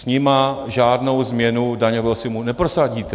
S nimi žádnou změnu daňového systému neprosadíte.